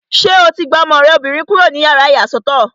Ṣé o ti gba ọmọ rẹ obìnrin kúrò nínú yàrá ìyàsọ́tọ̀?